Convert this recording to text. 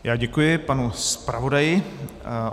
Já děkuji panu zpravodaji.